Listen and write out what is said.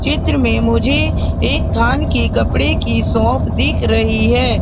चित्र में मुझे एक थान की कपड़े की शॉप दिख रही है।